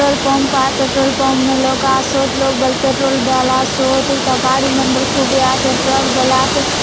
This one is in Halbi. पेट्रोल पंप आय पेट्रोल पंप में लोग आसोत लोग बले पेट्रोल डलासोत हुता गाड़ी मन बले खूबे आसे ट्रक बले आसे।